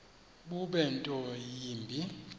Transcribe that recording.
bube nto yimbi